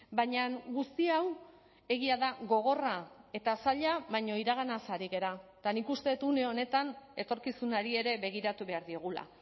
baina guzti hau egia da gogorra eta zaila baina iraganaz ari gara eta nik uste dut une honetan etorkizunari ere begiratu behar diogula